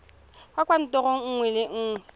kwa kantorong nngwe le nngwe